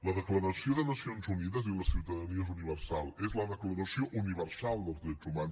la declaració de nacions unides diu que la ciutadania és universal és la declaració universal dels drets humans